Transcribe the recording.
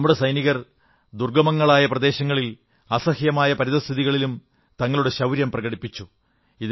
നമ്മുടെ സൈനികർ ദുർഗ്ഗമങ്ങളായ പ്രദേശങ്ങളിൽ അസഹ്യമായ പരിതഃസ്ഥിതികളിലും തങ്ങളുടെ ശൌര്യം പ്രകടിപ്പിച്ചു